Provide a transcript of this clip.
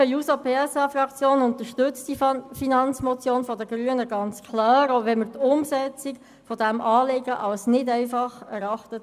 Die SP-JUSO-PSA-Fraktion unterstützt die Finanzmotion der Grünen ganz klar, auch wenn wir die Umsetzung dieses Anliegens nicht als einfach erachten.